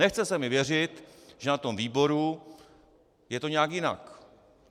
Nechce se mi věřit, že na tom výboru je to nějak jinak.